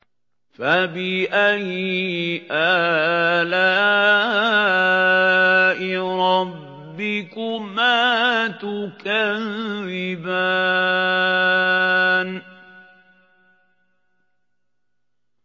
فَبِأَيِّ آلَاءِ رَبِّكُمَا تُكَذِّبَانِ